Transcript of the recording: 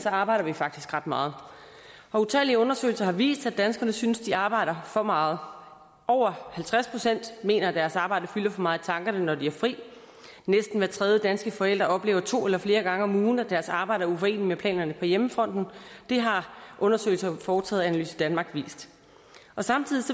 arbejder vi faktisk ret meget og utallige undersøgelser har vist at danskerne synes de arbejder for meget over halvtreds procent mener at deres arbejde fylder for meget i tankerne når de har fri næsten hver tredje danske forælder oplever to eller flere gange om ugen at deres arbejde er uforeneligt med planerne på hjemmefronten det har undersøgelser foretaget af analyse danmark vist samtidig